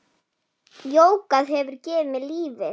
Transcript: Jógað hefur gefið mér lífið.